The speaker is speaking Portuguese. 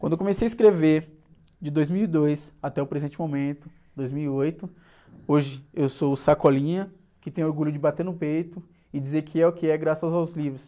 Quando eu comecei a escrever, de dois mil e dois até o presente momento, dois mil e oito, hoje eu sou o que tem orgulho de bater no peito e dizer que é o que é graças aos livros.